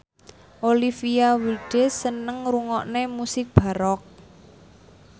Olivia Wilde seneng ngrungokne musik baroque